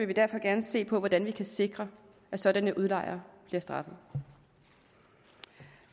vi derfor gerne se på hvordan vi kan sikre at sådanne udlejere bliver straffet